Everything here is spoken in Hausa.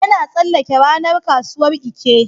Yana tsallake ranar kasuwar Eke.